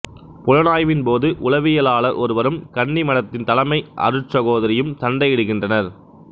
புலனாய்வின் போது உளவியலாளர் ஒருவரும் கன்னிமடத்தின் தலைமை அருட்சகோதரியும் சண்டை இடுகின்றனர்